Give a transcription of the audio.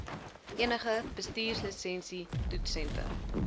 enige bestuurslisensie toetssentrum